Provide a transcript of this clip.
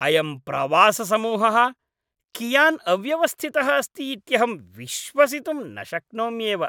अयं प्रवाससमूहः कियान् अव्यवस्थितः अस्ति इत्यहं विश्वसितुं न शक्नोम्येव।